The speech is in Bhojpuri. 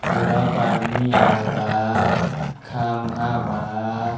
रोडवा प आदमी आवता। खंभा बा।